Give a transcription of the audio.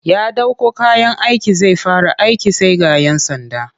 Ya ɗauko kayan aiki zai fara aiki sai ga 'yan sanda